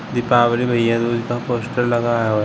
दीपावली भैया दूज का पोस्टर लगा है।